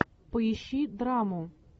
поищи драму